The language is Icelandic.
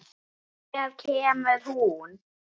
Hér kemur hún.